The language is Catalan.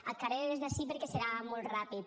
ac harè des d’ací perque serà molt rapid